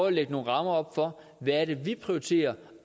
at lægge nogle rammer op for hvad det er vi prioriterer